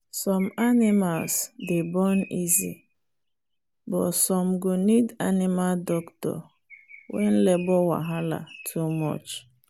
some animals dey born easy but some go need animal doctor when labour wahala too much